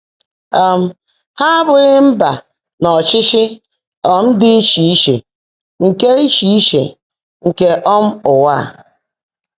um Há ábụ́ghị́ mbà nà ọ́chịchị́ um ḍị́ íchè íche nkè íchè íche nkè um ụ́wà á.